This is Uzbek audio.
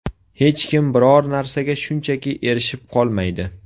Hech kim biror narsaga shunchaki erishib qolmaydi.